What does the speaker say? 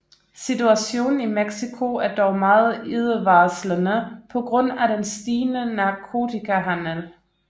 Situationen i Mexico er dog meget ildevarslende på grund af den stigende narkotikahandel